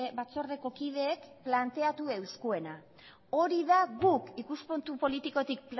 batzordeko kideek planteatu euskuena hori da guk ikuspuntu politikotik